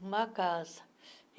Numa casa.